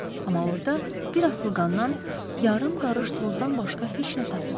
Amma orda bir asılqandan yarım qarış tozdan başqa heç nə tapmadım.